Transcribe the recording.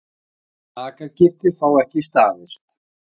Sakargiftir fá ekki staðist